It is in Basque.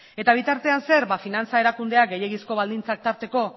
eta bitartean zer finantza erakundea gehiegizko baldintzak tarteko